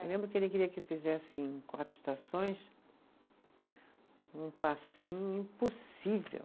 Eu lembro que ele queria que fizesse em Quatro Estações um passinho impossível.